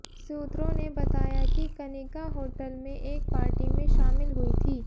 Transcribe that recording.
सूत्रों ने बताया कि कनिका होटल में एक पार्टी में शामिल हुई थी